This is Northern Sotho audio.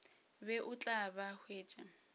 be o tla ba hwetša